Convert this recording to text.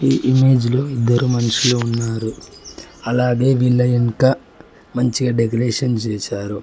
ఈ ఇమేజ్ లో ఇద్దరు మనుషులు ఉన్నారు అలాగే వీళ్ళ ఎన్కా మంచిగా డెకరేషన్ చేశారు.